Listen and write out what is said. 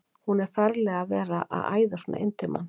Hún er ferleg að vera að æða svona inn til manns!